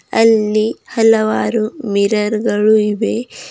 ಅಲ್ಲಿ ಹಲವಾರು ಮಿರರ್ ಗಳು ಇವೆ.